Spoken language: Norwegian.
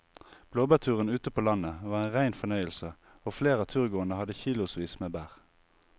Blåbærturen ute på landet var en rein fornøyelse og flere av turgåerene hadde kilosvis med bær.